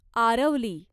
Aravali